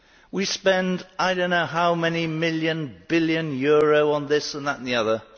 We spend I do not know how many million billion euro on this, that and the other